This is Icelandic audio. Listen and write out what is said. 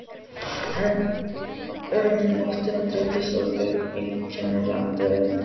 En um nóttina dreymdi Þorbjörn einkennilegan draum.